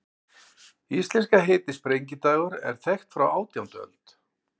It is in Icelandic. Íslenska heitið, sprengidagur, er þekkt frá átjándu öld.